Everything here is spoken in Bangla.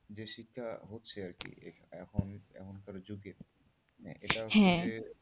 যে শিক্ষা হচ্ছে আরকি এখন এখনকারের যুগে, মানে এটা হচ্ছে, হ্যাঁ